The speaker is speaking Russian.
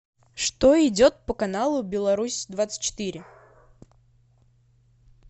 что идет по каналу беларусь двадцать четыре